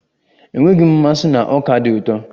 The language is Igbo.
Enweghị m mmasị na ọka dị ụtọ.